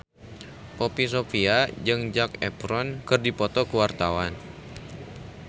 Poppy Sovia jeung Zac Efron keur dipoto ku wartawan